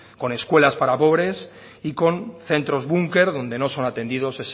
con escuelas para pobres y con centros bunker donde no son atendidos